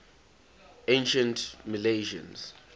ancient milesians